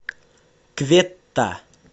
кветта